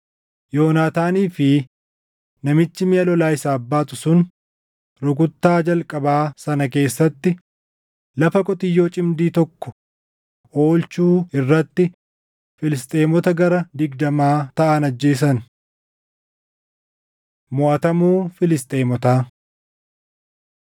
Yoonaataanii fi namichi miʼa lolaa isaaf baatu sun rukuttaa jalqabaa sana keessatti lafa qotiyyoo cimdii tokko oolchuu irratti Filisxeemota gara digdamaa taʼan ajjeesan. Moʼatamuu Filisxeemotaa